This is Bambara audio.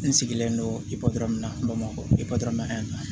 N sigilen don i kɔɔrina bamakɔ i kɔ na yan